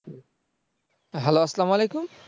Hello আসসালামু আলাইকুম